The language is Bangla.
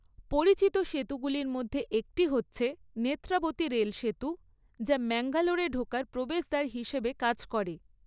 পরিচিত সেতুগুলির মধ্যে একটি হচ্ছে নেত্রাবতী রেলসেতু যা ম্যাঙ্গালোরে ঢোকার প্রবেশদ্বার হিসাবে কাজ করে।